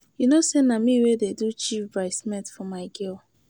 You know say na me wey dey do Chief bride's maid for my girl.